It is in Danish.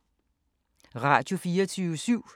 Radio24syv